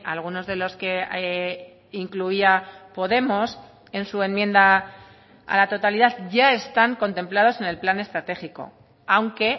algunos de los que incluía podemos en su enmienda a la totalidad ya están contemplados en el plan estratégico aunque